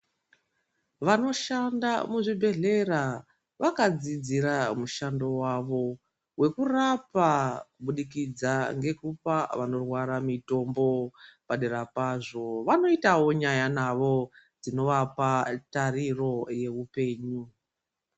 Vanoshanda muzvibhedhlera vakadzidzira mushando wavo wekurapa kubudikidza ngekupa vanorwara mitombo. Padera pazvo vanoitawo nyaya navo dzinovapa tariro yeupenyu.